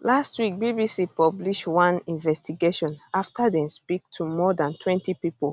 last week bbc publish one investigation afta dem speak to more dantwentypipo